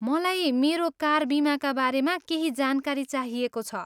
मलाई मेरो कार बिमाका बारेमा केही जानकारी चाहिएको छ।